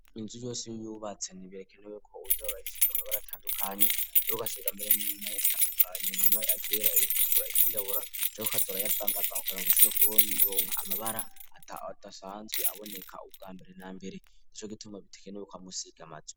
inzu yose y'ubatse ntibikenewe ko uza urasiga amabara atandukanye, mbere Ugasiga n'ayatandukanye nka mwe iryera, iritukura , iryirabura canke ukaja urayavangavanga kugirango ushobore kuronka amabara adasanzwe aboneka ubwa mbere na mbere nico gituma bidakenewe kwama usiga amazu.